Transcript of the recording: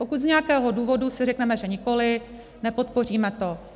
Pokud z nějakého důvodu si řekneme, že nikoli, nepodpoříme to.